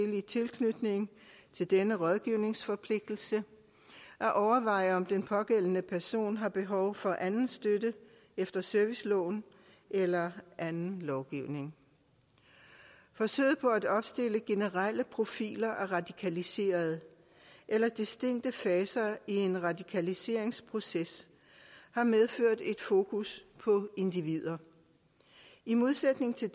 tilknytning til denne rådgivningsforpligtelse at overveje om den pågældende person har behov for anden støtte efter serviceloven eller anden lovgivning forsøget på at opstille generelle profiler af radikaliserede eller distinkte faser i en radikaliseringsproces har medført et fokus på individer i modsætning til